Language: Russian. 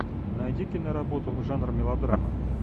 найди киноработу жанр мелодрама